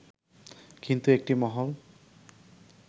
কিন্তু একটি মহল